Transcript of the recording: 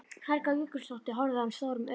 Helga Jökulsdóttir horfði á hann stórum augum.